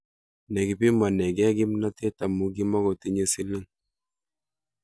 Nekipimanekei kimnatet amu kimakotinyei siling